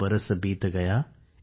एक बरस बीत गया